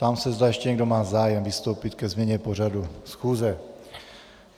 Ptám se, zda ještě někdo má zájem vystoupit ke změně pořadu schůze.